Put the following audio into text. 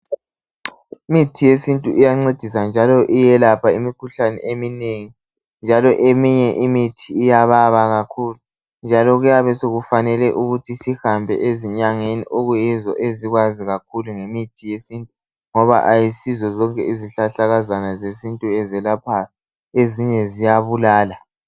Imithi yesintu iyancedisa njalo iyelapha imikhuhlane eminengi njalo eminye imithi iyababa kakhulu njalo kuyabe sokufanele ukuthi sihambe ezinyangeni okuyizo ezikwazi kakhulu ngemithi yesintu ngoba kayisizo zonke izihlahlakazana zesintu ezelaphayo ezinye ziyabulala.